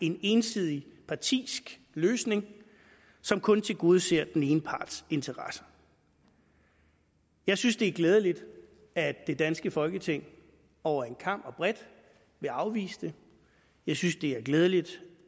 en ensidig partisk løsning som kun tilgodeser den ene parts interesser jeg synes det er glædeligt at det danske folketing over en kam og bredt vil afvise det jeg synes det er glædeligt